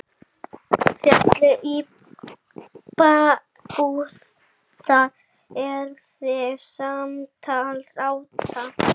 Hvernig höndlar þú þá pressu?